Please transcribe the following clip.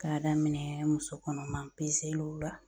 K'a daminɛ musokɔnɔma peseliw la